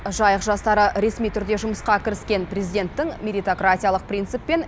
жайық жастары ресми түрде жұмысқа кіріскен президенттің меритократиялық принциппен